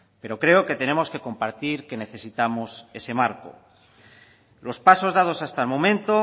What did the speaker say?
pero creo que tenemos que compartir que necesitamos ese marco los pasos dados hasta el momento